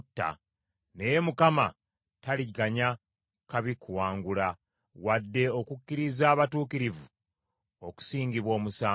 naye Mukama taliganya babi kuwangula, wadde okukkiriza abatuukirivu okusingibwa omusango.